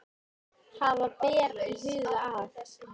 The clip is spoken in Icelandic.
Hafa ber í huga að